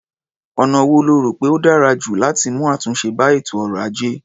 Ọ̀nà wo lo rò pé ó dára jù láti mú àtúnṣe bá ètò ọrọ̀-ajé?